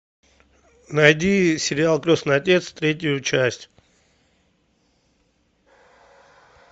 найди сериал крестный отец третью часть